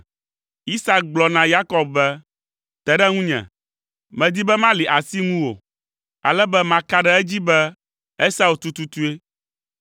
Isak gblɔ na Yakob be, “Te ɖe ŋunye. Medi be mali asi ŋuwò, ale be maka ɖe edzi be Esau tututue!”